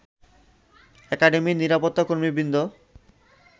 একাডেমির নিরাপত্তাকর্মীবৃন্দ